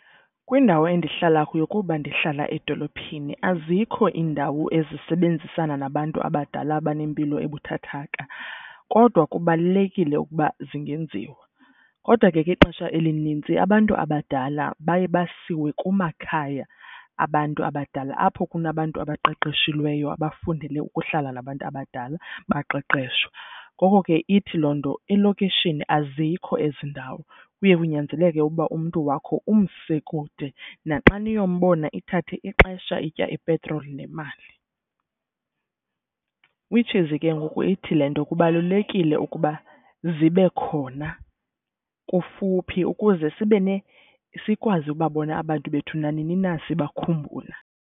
Kwindawo endihlala kuyo kuba ndihlala edolophini azikho iindawo ezisebenzisana nabantu abadala abanempilo ebuthathaka. Kodwa kubalulekile ukuba zingenziwa kodwa ke ixesha elinintsi abantu abadala baye basiwe kumakhaya abantu abadala apho kunabantu abaqeqeshilweyo abafundele ukuhlala nabantu abadala baqeqeshwe. Ngoko ke ithi loo nto elokishini azikho ezi ndawo kuye kunyanzeleke uba umntu wakho umse kude naxa niyombona ithathe ixesha itya ipetroli nemali. Which is ke ngoku ithi le nto kubalulekile ukuba zibe khona kufuphi ukuze sibene sikwazi ukuba bona abantu bethu nanini na sibakhumbula.